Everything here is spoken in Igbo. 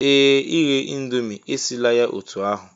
Ee! Ighe Indomie, esila ya otú ahụ